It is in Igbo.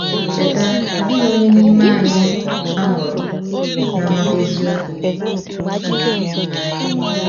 Cheta, ọ dịghị onye n’ime anyị a mụrụ na-amata eziokwu.